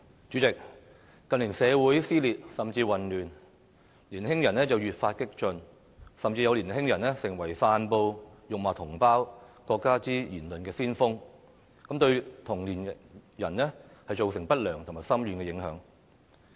主席，近年社會撕裂甚至混亂，年輕人越發激進，甚至有年輕人成為散布辱罵同胞、國家的言論的先鋒，對同齡人造成不良和深遠的影響。